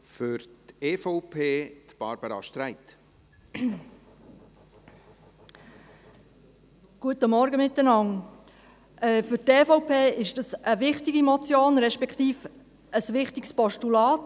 Für die EVP handelt es sich um eine wichtige Motion, respektive um ein wichtiges Postulat.